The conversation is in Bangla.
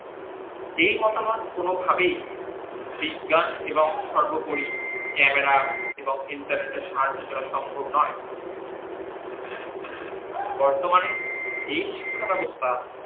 এই মতামত কোন ভাবেই বিজ্ঞান এবং সর্বোপরি camera এর এবং internet এর সাহায্য ছাড়া সম্ভব নই বর্তমানে এই শিক্ষা ব্যাবস্থা